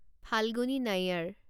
Falguni Nair